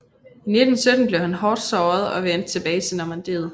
I 1917 blev han hårdt såret og vendte tilbage til Normandiet